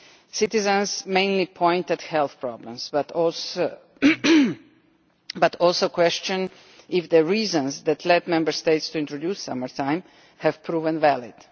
Citizens mainly point to health problems, but also question if the reasons that led Member States to introduce summer-time have proven valid.